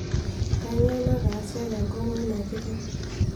kanyio nataase tenkong'u ena kiteng